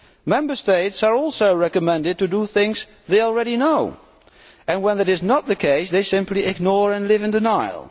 Member States are also recommended to do things they already know and when this is not the case they simply ignore it and live in denial.